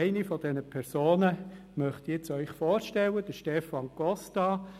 Eine dieser Personen möchte ich Ihnen jetzt vorstellen: Stefan Costa.